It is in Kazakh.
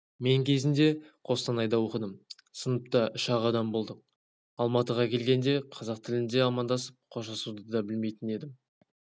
мен кезінде қостанайда оқыдым сыныпта үш-ақ адам болдық алматыға келгенде қазақ тілінде амандасып қоштасуды дабілмейтін едім